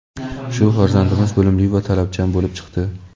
Shu farzandimiz bilimli va talabchan bo‘lib chiqdi.